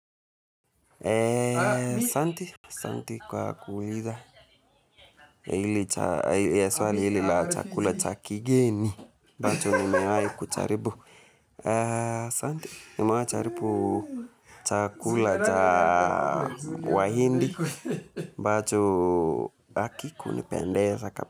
Asante kwa kuuliza. Ya swali hili la chakula cha kigeni. Ambacho nimewahi kujaribu. Asante, nimewahi kujaribu chakula cha wa hindi. Ambacho hakikunipendeza.